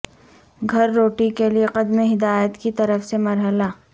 گھر روٹی کے لئے قدم ہدایت کی طرف سے مرحلہ